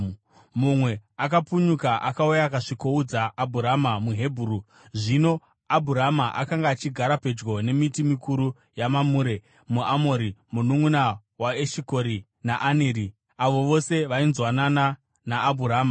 Mumwe akapunyuka akauya akasvikoudza Abhurama muHebheru. Zvino Abhurama akanga achigara pedyo nemiti mikuru yaMamure muAmori, mununʼuna waEshikori naAneri, avo vose vainzwanana naAbhurama.